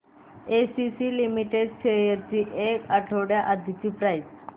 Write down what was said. ACC limited shares ची एक आठवड्या आधीची प्राइस